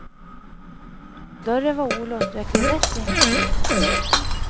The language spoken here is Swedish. Dörren var olåst och jag klev rätt in i studion.